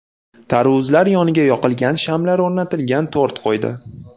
Tarvuzlar yoniga yoqilgan shamlar o‘rnatilgan tort qo‘ydi.